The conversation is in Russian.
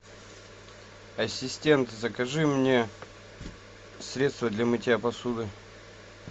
ассистент закажи мне средство для мытья посуды